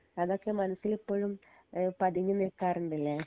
അതൊക്കെ മനസിൽ ഇപ്പഴും ഏഹ് പതിങ്ങി നിക്കാറ്ണ്ട് ലെ